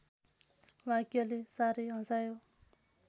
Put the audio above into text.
वाक्यले साह्रै हँसायो